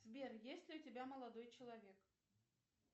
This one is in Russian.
сбер есть ли у тебя молодой человек